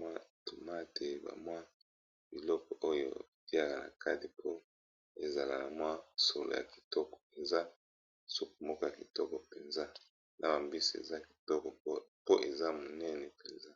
mwa toma te bamwa biloko oyo tiaka na kati po ezala na mwa solo ya kitoko mpenza suku moko kitoko mpenza na bambisi eza kitoko po eza monene mpenza.